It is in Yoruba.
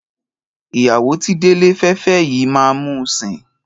Ìyàwó tí Délé fẹ́ fẹ́ yìí máa mú un sìn.